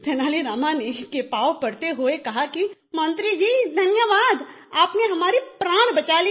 तेनाली रामा के पाँव पड़ते हुए कहा कि मंत्री जी धन्यवाद आपने हमारी प्राण बचा ली